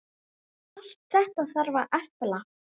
Allt þetta þarf að efla.